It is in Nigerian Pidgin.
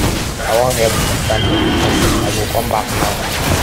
i wan help susan edit something i go come back now